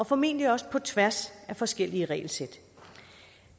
formentlig også på tværs af forskellige regelsæt